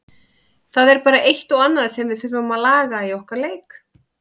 Það er bara eitt og annað sem við þurfum að laga í okkar leik.